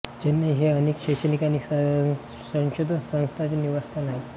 चेन्नई हे अनेक शैक्षणिक आणि संशोधन संस्थांचे निवासस्थान आहे